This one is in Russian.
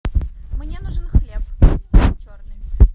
мне нужен хлеб черный